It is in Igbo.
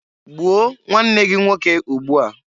Gbuo nwanne gị nwoke ugbua!